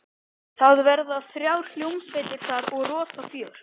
Það verða þrjár hljómsveitir þar og rosa fjör.